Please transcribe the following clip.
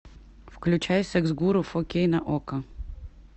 включай секс гуру фо кей на окко